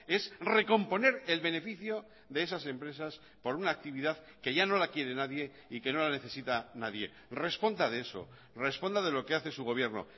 es recomponer el beneficio de esas empresas por una actividad que ya no la quiere nadie y que no la necesita nadie responda de eso responda de lo que hace su gobierno